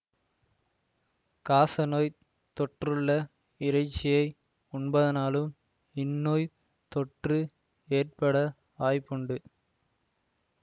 காசநோய்த் தொற்றுள்ள இறைச்சியை உண்பதனாலும் இந்நோய்த் தொற்று ஏற்பட வாய்ப்புண்டு